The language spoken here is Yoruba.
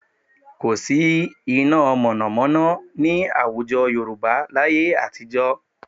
Kò sí iná mọ̀nàmọ́ná ní àwùjọ Yorùbá láyé àtijọ́